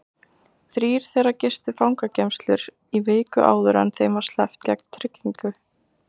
Þrír þeirra gistu fangageymslur í viku áður en þeim var sleppt gegn tryggingu.